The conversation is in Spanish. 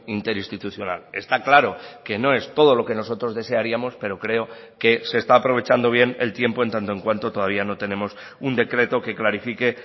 interinstitucional está claro que no es todo lo que nosotros desearíamos pero creo que se está aprovechando bien el tiempo en tanto en cuanto todavía no tenemos un decreto que clarifique